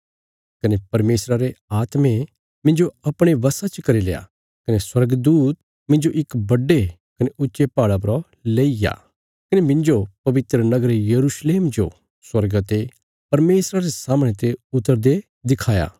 कने परमेशरा रे आत्मे मिन्जो अपणे वशा च करील्या कने स्वर्गदूत मिन्जो इक बड्डे कने ऊच्चे पहाड़ा परा लईग्या कने मिन्जो पवित्र नगर यरूशलेम जो स्वर्गा ते परमेशरा रे सामणे ते उतरदे दिखाया